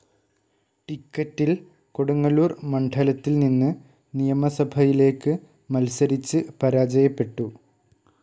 ടിക്കറ്റിൽ കൊടുങ്ങല്ലൂർ മണ്ഡലത്തിൽ നിന്ന് നിയമസഭയിലേക്ക് മത്സരിച്ച് പരാജയപ്പെട്ടു.